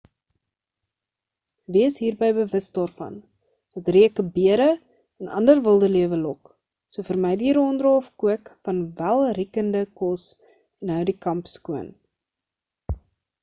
wees hierby bewus daarvan dat reuke bere en ander wildelewe lok so vermy die ronddra of kook van welriekende kos en hou die kamp skoon